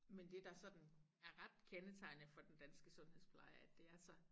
Men det der sådan er ret kendetegnende for den danske sundhedspleje er at det er så